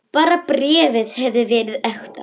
Bara bréfið hefði verið ekta!